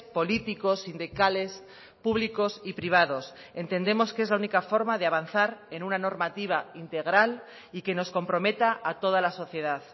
políticos sindicales públicos y privados entendemos que es la única forma de avanzar en una normativa integral y que nos comprometa a toda la sociedad